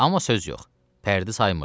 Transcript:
Amma söz yox, pərdi saymırdı.